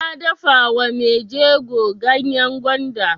Na dafa wa mai jego ganyan gwanda.